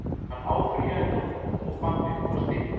Hann áfrýjaði dómnum og bannið var stytt.